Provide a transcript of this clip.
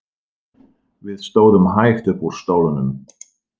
Við stóðum hægt upp úr stólunum.